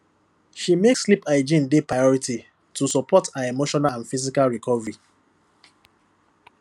she make sleep hygiene dey priority to support her emotional and physical recovery